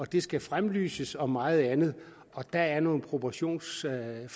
det skal fremlyses og meget andet der er noget proportionsforvrængning i